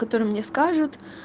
который мне скажут